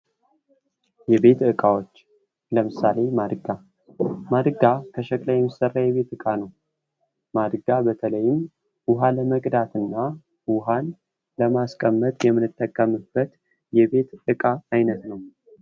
የቤት እቃዎች ለምሳሌ ማድጋ ከሸክላ የሚሠራ የቤት እቃ ነው። ማድጋ በተለይም ውሃ ለመቅዳትና ውሃ ለማስቀመጥ የምንጠቀምበት እቃ ነው።